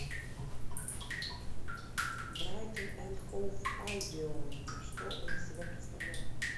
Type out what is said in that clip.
брайтон энд хоув альбион что он из себя представляет